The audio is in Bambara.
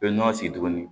U bɛ nɔnɔ sigi tuguni